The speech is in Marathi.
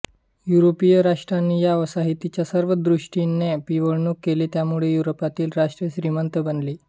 युरोपीय राष्ट्रांनी या वसाहतींची सर्व दृष्टीने पिळवणूक केली त्यामुळे युरोपातील राष्ट्रे श्रीमंत बनली